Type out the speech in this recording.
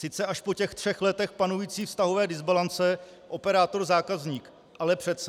Sice až po těch třech letech panující vztahové dysbalance operátor-zákazník, ale přece.